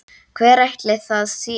Hver ætli það sé?